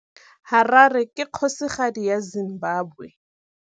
Harare ke kgosigadi ya Zimbabwe.